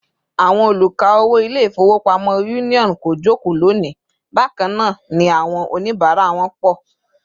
Àwọn oluka-owo Ilé-ifowopamo Union kò joko loni, bakana ni àwọn onibara wọn pọ̀